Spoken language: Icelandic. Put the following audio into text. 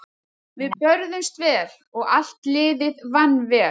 Við börðumst vel og allt liðið vann vel.